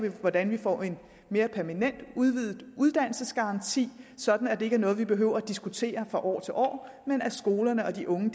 hvordan vi får en mere permanent udvidet uddannelsesgaranti sådan at det ikke er noget vi behøver at diskutere fra år til år men at skolerne og de unge